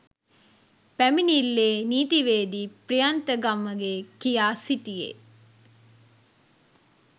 පැමිණිල්ලේ නීතිවේදී ප්‍රියන්ත ගමගේ කියා සිටියේ